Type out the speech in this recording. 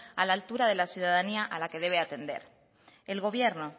a la altura de la ciudadanía a la que debe atender el gobierno